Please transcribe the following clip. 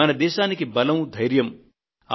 మన దేశానికి బలమూ ధైర్యమూ